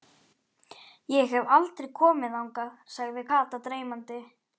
Ég hef aldrei komið þangað, sagði Kata dreymandi.